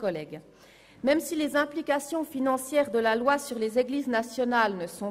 Alle drei sind christlich – alle drei!